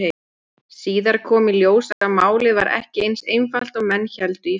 Síðar kom í ljós að málið var ekki eins einfalt og menn héldu í fyrstu.